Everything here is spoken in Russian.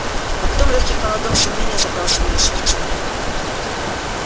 а потом лёгкий холодок сомнения закрался в её сердца